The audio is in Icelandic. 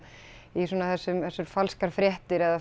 í svona þessum falskar fréttir eða